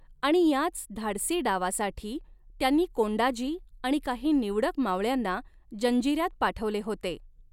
आणि याच धाडसी डावासाठी त्यांनी कोंडाजी आणि काही निवडक मावळ्यांना जंजीऱ्यात पाठवले होते.